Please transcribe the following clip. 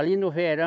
Ali no verão,